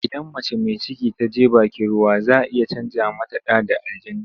Idan mace mai ciki ta je bakin ruwa za a iya canja mata ɗa da aljani.